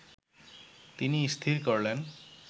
তিনি স্থির করলেন